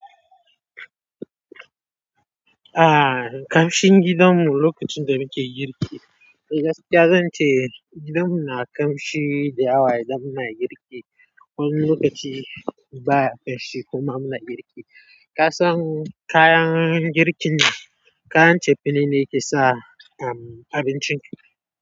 Ah, kamshin gidanmu lokacin da nike girki. Gaskiya zan ce gidanmu na kamshi da yawa idan muna girki. Wani lokaci baya kamshi kuma muna girki. Ka san kayan girkin ne, kayan cefane ne ke sa, um, abincin.